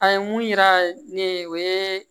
An ye mun yira ne ye o ye